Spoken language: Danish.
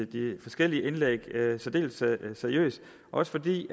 de forskellige indlæg særdeles seriøst også fordi